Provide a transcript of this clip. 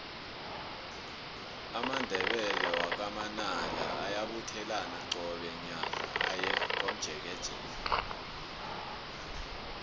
amandebele wakwa manala ayabuthelana qobe nyaka aye komjekejeke